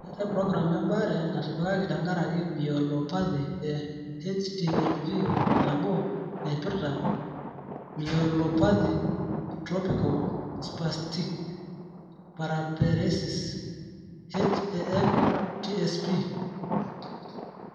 Meetai program embaare natipikaki tenkaraki myelopathy e HTLV 1 Naipirta myelopathy/tropical spastic paraparesis (HAM/TSP).